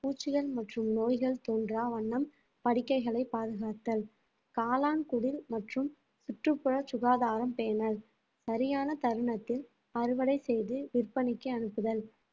பூச்சிகள் மற்றும் நோய்கள் தோன்றா வண்ணம் படுக்கைகளை பாதுகாத்தல் காளான் குடில் மற்றும் சுற்றுப்புற சுகாதாரம் பேணல் சரியான தருணத்தில் அறுவடை செய்து விற்பனைக்கு அனுப்புதல்